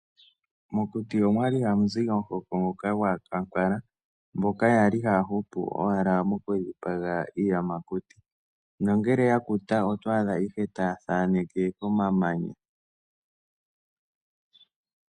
Mokuti omwali hamu zi omuhoko ngoka gwaakwankala mboka yali haya hupu owala moku dhipaga iiyamakuti nongele ya kuta oto adha ihe taya thaaneke komamanya.